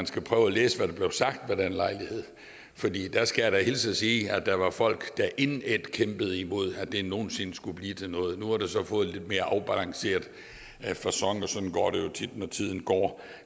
skal prøve at læse hvad der blev sagt ved den lejlighed jeg skal hilse og sige at der var folk der indædt kæmpede imod at det nogen sinde skulle blive til noget nu har det så fået en lidt mere afbalanceret facon og sådan går det tit når tiden går